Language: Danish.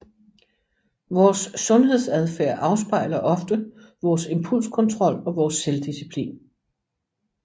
Vores sundhedsadfærd afspejler ofte vores impulskontrol og vores selvdisciplin